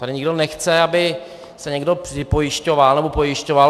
Tady nikdo nechce, aby se někdo připojišťoval nebo pojišťoval.